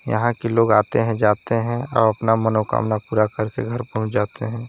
यहां लोग आते हैं जाते हैं अपना मनोकामना पूरा करके घर पहुंच जाते हैं।